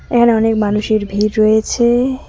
এখানে অনেক মানুষের ভিড় রয়েছে।